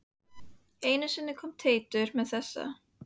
Einu sinni kom Teitur með þessa: